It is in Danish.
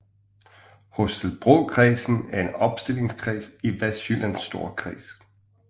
Holstebrokredsen er en opstillingskreds i Vestjyllands Storkreds